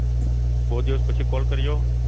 બહુ દિવસ પછી Call કર્યો